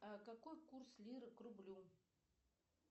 а какой курс лиры к рублю